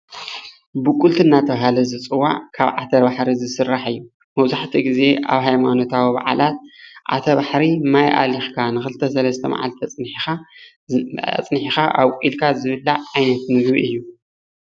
ቡቅልቲ እናተብሃለ ዝፅዋዕ ካብ ዓተባሕሪ ዝስራሕ እዩ። መብዛሕትኡ ግዜ ኣብ ሃይማኖታዊ በዓላት ዓተባሕሪ ማይ ኣሊኽካ ን ኽልተ ሰለስተ መዓልቲ ኣፅኒሕኻ ኣብቁልካ ዝብላዕ ዓይነት ምግቢ እዪ።